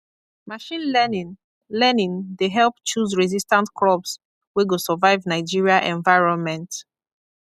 machine learning learning dey help choose resistant crops wey go survive nigeria environment